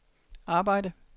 arbejde